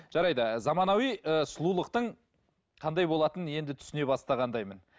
жарайды заманауи ыыы сұлулықтың қандай болатыны енді түсіне бастағандаймын